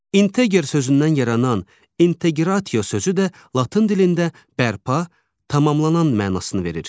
İnteqer sözündən yaranan inteqratio sözü də latın dilində bərpa, tamamlanan mənasını verir.